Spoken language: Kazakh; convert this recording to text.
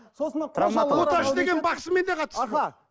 сосын оташы деген бақсымен не қатысы